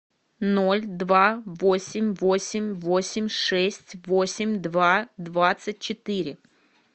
ноль два восемь восемь восемь шесть восемь два двадцать четыре